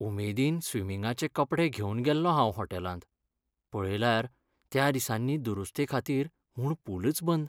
उमेदीन स्विमिंगाचे कपडे घेवन गेल्लों हांव हॉटेलांत, पळयल्यार त्या दिसांनी दुरुस्तेखातीर म्हूण पूलच बंद!